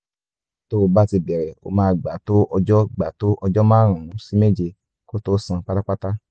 tó bá ti bẹ̀rẹ̀ ó máa gbà tó ọjọ́ gbà tó ọjọ́ márùn-ún sí méje kó tó sàn pátápátá